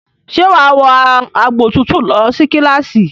Ṣe wàá wọ agbòtútù lọ sí kíláàsì?